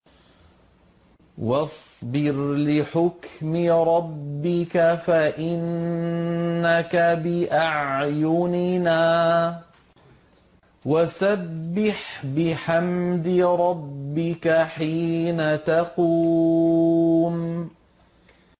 وَاصْبِرْ لِحُكْمِ رَبِّكَ فَإِنَّكَ بِأَعْيُنِنَا ۖ وَسَبِّحْ بِحَمْدِ رَبِّكَ حِينَ تَقُومُ